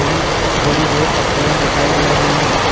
एवं थोड़ी बहुत पत्तियाँ दिखाई दे रही है।